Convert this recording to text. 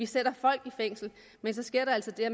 sætter folk i fængsel men så sker der altså det at